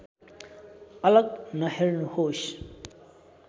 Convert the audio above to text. अलग नहेर्नुहोस्